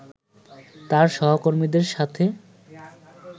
তার সহকর্মীদের সাথে